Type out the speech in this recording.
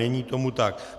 Není tomu tak.